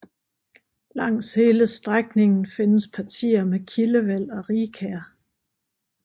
Langs hele strækningen findes partier med kildevæld og rigkær